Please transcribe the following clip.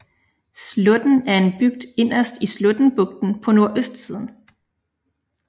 Slåtten er en bygd inderst i Slåttenbugten på nordøstsiden